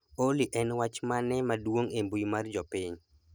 Olly en wach mane maduong' e mbui mar jopiny